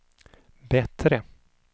bättre